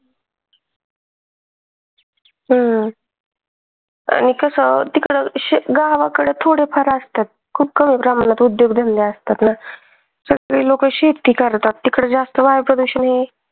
हम्म. गावाकडे थोडेफार असतात खूप कमी प्रमाणात उद्योग धंदे असतात नं तिकडे लोक शेती करतात तिकडे जास्त वायू प्रदूषण